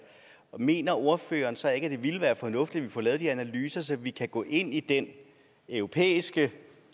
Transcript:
mener ordføreren så ikke at det vil være fornuftigt at vi får lavet de analyser så vi kan gå ind i den europæiske